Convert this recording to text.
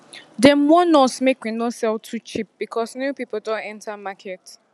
dem warn us make we no sell too cheap because new people don enter market